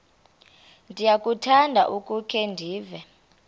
ndiyakuthanda ukukhe ndive